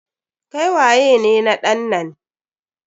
Kai waye ne na ɗan nan?